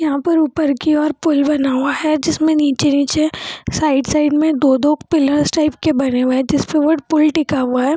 यहाँ पर ऊपर की ओर पुल बना हुआ है जिसमें नीचे-नीचे साइड - साइड में दो-दो पिल्लर्स टाइप के बने हुए है जिस पर पुल टिका हुआ है।